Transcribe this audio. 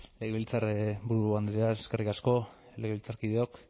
legebiltzarburu andrea eskerrik asko legebiltzarkideok